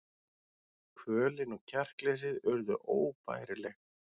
Kvölin og kjarkleysið urðu óbærileg.